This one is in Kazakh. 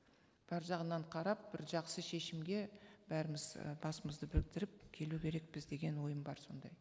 бар жағынан қарап бір жақсы шешімге бәріміз і басымызды біріктіріп келу керекпіз деген ойым бар сондай